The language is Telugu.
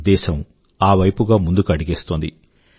దేశం ఆ వైపుగా ముందుకు అడుగేస్తోంది